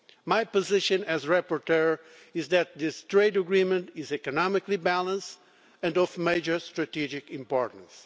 My position as rapporteur is that this trade agreement is economically balanced and of major strategic importance.